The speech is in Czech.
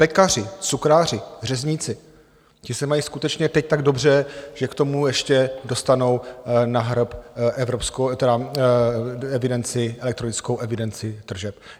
Pekaři, cukráři, řezníci, ti se mají skutečně teď tak dobře, že k tomu ještě dostanou na hrb elektronickou evidenci tržeb.